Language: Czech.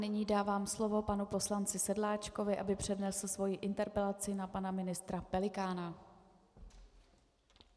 Nyní dávám slovo panu poslanci Sedláčkovi, aby přednesl svoji interpelaci na pana ministra Pelikána.